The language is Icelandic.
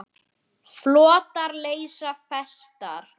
Hann botnar ekkert í henni.